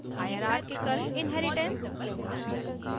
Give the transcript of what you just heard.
hierarchical inheritance